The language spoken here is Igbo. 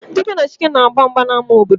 Dike na Chike ga-agba mgba n'ama obodo